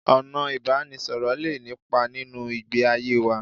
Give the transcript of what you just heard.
Ọ̀nà ìbánisọ̀rọ̀ lé nípa nínú ìgbé ayé wa